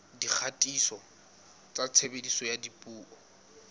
dikgatiso tsa tshebediso ya dipuo